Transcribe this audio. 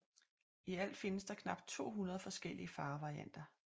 I alt findes der knap 200 forskellige farvevarianter